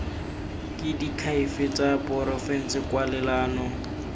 ke diakhaefe tsa porofense kwalelano